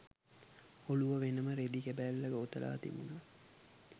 ඔළුව වෙනම රෙදි කැබැල්ලක ඔතලා තිබුණා.